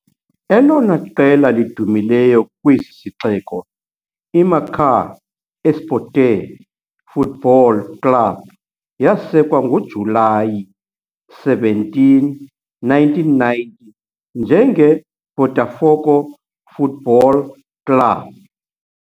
Elona qela lidumileyo kwesi sixeko, IMacaé Esporte Futebol Clube yasekwa ngoJulayi 17, 1990 njengeBotafogo Futebol Clube.